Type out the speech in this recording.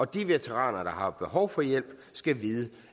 de veteraner der har behov for hjælp skal vide